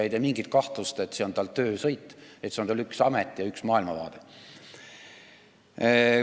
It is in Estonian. Ei ole mingit kahtlust, et see on tal töösõit, üks amet ja üks maailmavaade.